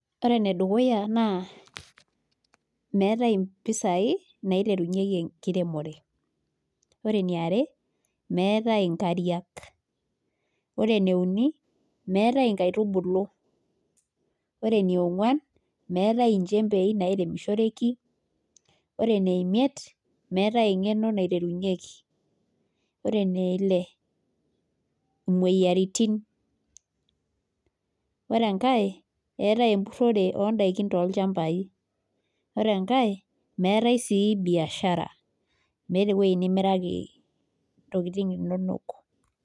ore enedukuya naa meetae impisai naiterunyieki enkiremore ore eniare meetae inkariak, ore ene uni meetae inkaitubulu, ore eneng'uan meetae inchembei nairemishoreki ore ene miet meetae eng'eno, ore eneile naa imoyiaritin, ore enkae etae emburore ore enkae meetae sii biashara meetae eweji nimiraki intokitin inonok.